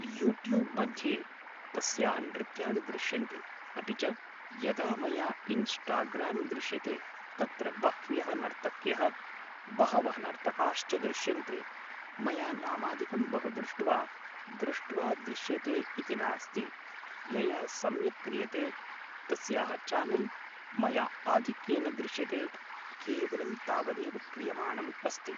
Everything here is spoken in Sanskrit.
युट्युब् मध्ये तस्याः नृत्याणि दृश्यन्ते अपि च यदा मया इन्स्टाग्राम् दृश्यते तत्र बह्व्यः नर्तक्यः बहवः नर्तकाश्च दृश्यन्ते मया नामादिकं बहु दृष्ट्वा दृष्ट्वा दृश्यते इति नास्ति यया सम्यक् क्रियते तस्याः चानल् मया आधिक्येन दृश्यते केवलं तावदेव क्रियमाणम् अस्ति